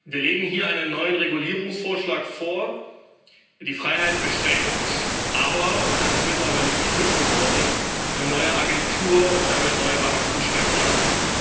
Wir legen hier einen neuen Regulierungsvorschlag vor, der die Freiheit beschränkt, aber und das ist mittlerweile typisch geworden eine neue Agentur und damit neue Beamtenstellen schafft.